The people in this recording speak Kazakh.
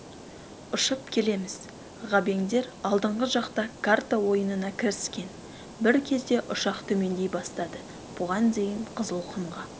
ұшып келеміз ғабеңдер алдыңғы жақта карта ойынына кіріскен бір кезде ұшақ төмендей бастады бұған дейін қызылқұмға